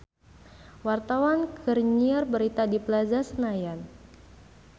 Wartawan keur nyiar berita di Plaza Senayan